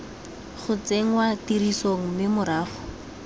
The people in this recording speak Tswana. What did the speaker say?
go tsenngwa tirisong mme morago